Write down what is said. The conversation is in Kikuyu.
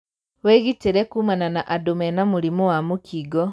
Wĩgitĩre kumana na andũ mena mũrimũ wa mũkingo.